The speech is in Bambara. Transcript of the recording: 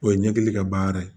O ye ɲɛkili ka baara ye